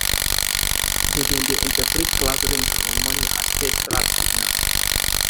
dem dem dey interpret cloud rings for morning as pest trap signals